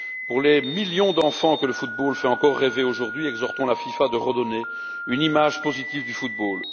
Pour les millions d'enfants que le football fait encore rêver aujourd'hui, exhortons la FIFA à redonner une image positive du football.